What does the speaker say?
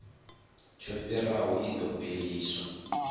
tsho fhiraho i ḓo fheliswa